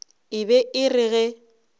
e be e re ge